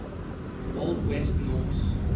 old west norse